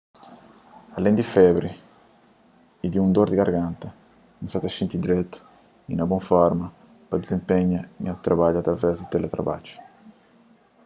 alén di febri y di un dor di garganta n sa ta xinti dretu y na bon forma pa dizenpenha nha trabadju através di teletrabadju